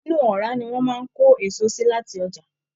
Inú ọra ní wọn máa n ko èso sí láti ọjà.